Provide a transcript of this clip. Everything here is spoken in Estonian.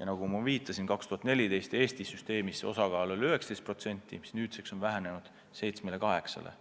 ja nagu ma viitasin, 2014. aastal oli Eesti süsteemis nende osakaal 19%, mis nüüdseks on vähenenud 7–8%-ni.